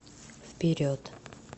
вперед